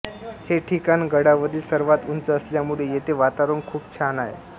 हे ठिकाण गडावरील सर्वात उंच असल्यामुळे इथे वातावरण खूप छान आहे